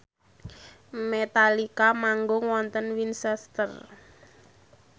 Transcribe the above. Metallica manggung wonten Winchester